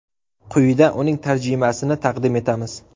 Quyida uning tarjimasini taqdim etamiz.